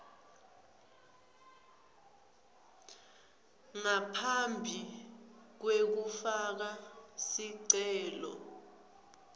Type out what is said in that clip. ngaphambi kwekufaka sicelo